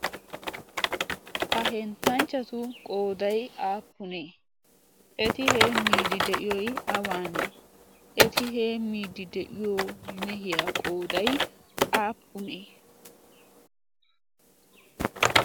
ha henttanchchatu qooday aappunee eti hee miidi de'iyoy awaanee eti hee miidi de'iyo mehiyaa qooday aappunee